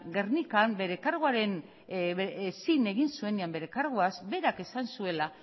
gernikan zin egin zuenean bere karguaz berak esan zuela